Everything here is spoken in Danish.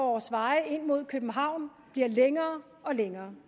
vores veje ind mod københavn bliver længere og længere